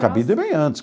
Cabide é bem antes.